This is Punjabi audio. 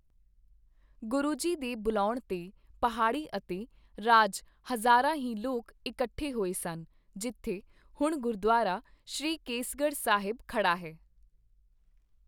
ਗੁਰੂ ਜੀ ਦੇ ਬੁਲਾਉਣ 'ਤੇ ਪਹਾੜੀ ਅਤੇ ਰਾਜ ਹਜ਼ਾਰਾਂ ਹੀ ਲੋਕ ਇੱਕਠੇ ਹੋਏ ਸਨ, ਜਿੱਥੇ ਹੁਣ ਗੁਰਦੁਆਰਾ ਸ਼੍ਰੀ ਕੇਸਗੜ੍ਹ ਸਾਹਿਬ ਖੜ੍ਹਾ ਹੈ